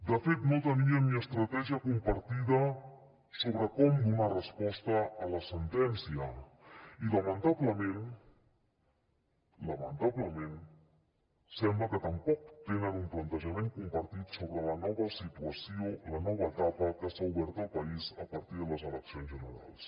de fet no tenien ni estratègia compartida sobre com donar resposta a la sentència i lamentablement lamentablement sembla que tampoc tenen un plantejament compartit sobre la nova situació la nova etapa que s’ha obert al país a partir de les eleccions generals